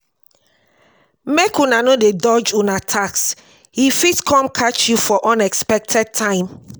make una no dey dodge una tax e fit come catch you for unexpected time.